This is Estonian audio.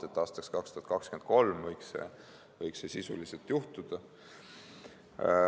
Nii et aastaks 2023 võiks see juhtuda.